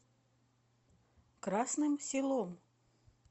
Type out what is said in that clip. красным селом